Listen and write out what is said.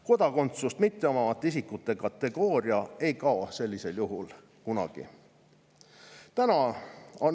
Kodakondsust mitteomavate isikute kategooria ei kao sellisel juhul kunagi.